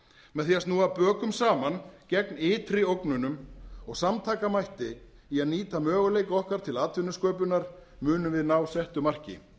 með því að snúa bökum saman gegn ytri ógnunum og samtakamætti í að nýta möguleika okkar til atvinnusköpunar munum við ná settu marki